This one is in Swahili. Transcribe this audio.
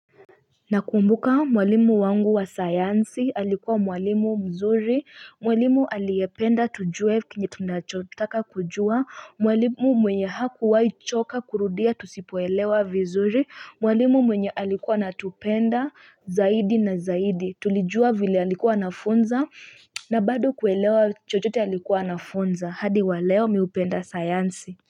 Nakumbuka mwalimu wangu wa sayansi alikuwa mwalimu mzuri mwalimu aliyependa tujue kenge tunachotaka kujua mwalimu mwenye hakuwahi choka kurudia tusipoelewa vizuri mwalimu mwenye alikuwa natupenda zaidi na zaidi tulijua vile alikuwa anafunza na bado kuelewa chochote alikuwa anafunza hadi wa leo mimi hupenda sayansi.